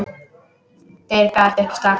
Tveir gáfust strax upp.